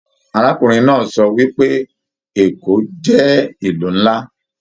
Arákùnrin náà sọ wípé Èkó jẹ ìlú nlá.